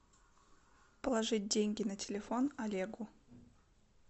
положить деньги на телефон олегу